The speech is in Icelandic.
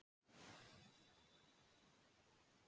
En hvað er hægt að gera til að sporna við þessari þróun?